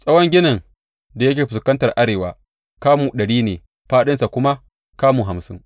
Tsawon ginin da yake fuskantar arewa kamu ɗari ne fāɗinsa kuma kamu hamsin.